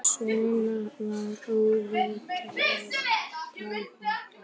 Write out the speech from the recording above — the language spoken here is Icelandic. Svona var óréttlætið takmarkalaust.